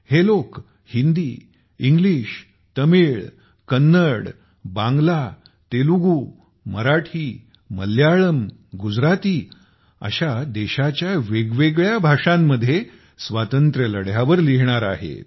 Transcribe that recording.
हे लोक हिंदी इंग्लिश तमिळ कन्नड बांग्ला तेलुगू मराठी मल्याळम गुजराती अशा देशाच्या वेगवेगळ्या भाषात स्वातंत्र्य लढ्यावर लिहिणार आहेत